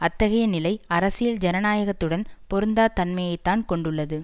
அத்தகைய நிலை அரசியல் ஜனநாயகத்துடன் பொருந்தா தன்மையை தான் கொண்டுள்ளது